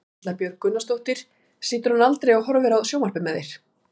Erla Björg Gunnarsdóttir: Situr hann aldrei og horfir á sjónvarpið með þér?